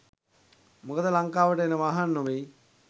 මොකද ලංකාවට එන වාහන නොවෙයි.